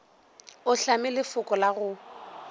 o hlame lefoko la go